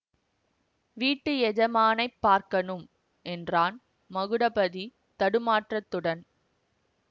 வீட்டு எஜமானைப் பார்க்கணும் என்றான் மகுடபதி தடுமாற்றத்துடன்